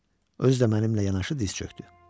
Özü də mənimlə yanaşı diz çökdü.